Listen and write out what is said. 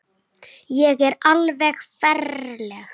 Ég er alveg ferleg.